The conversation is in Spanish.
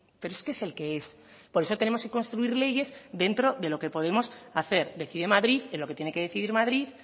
pero es que es el que es por eso tenemos que construir leyes dentro de lo que podemos hacer decide madrid en lo que tiene que decidir madrid